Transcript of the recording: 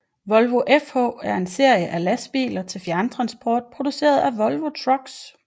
Volvo FH er en serie af lastbiler til fjerntransport produceret af Volvo Trucks